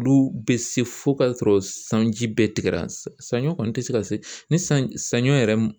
Olu bɛ se fo k'a sɔrɔ sanji bɛɛ tigɛra , sanɲɔ kɔni tɛ se ka se ni sanɲɔ yɛrɛ